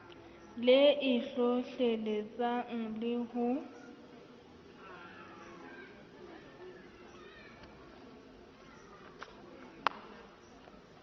le e hlohleletsang le ho